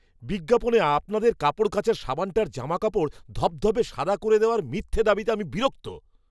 বিজ্ঞাপনে আপনাদের কাপড় কাচার সাবানটার জামাকাপড় ধবধবে সাদা করে দেওয়ার মিথ্যে দাবিতে আমি বিরক্ত।